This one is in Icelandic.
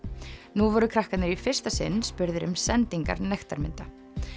nú voru krakkarnir í fyrsta sinn spurðir um sendingar nektarmynda